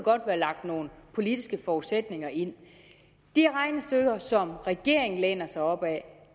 være lagt nogle politiske forudsætninger ind de regnestykker som regeringen læner sig op ad